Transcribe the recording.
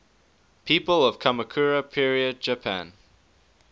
people of kamakura period japan